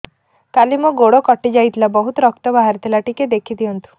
କାଲି ମୋ ଗୋଡ଼ କଟି ଯାଇଥିଲା ବହୁତ ରକ୍ତ ବାହାରି ଥିଲା ଟିକେ ଦେଖି ଦିଅନ୍ତୁ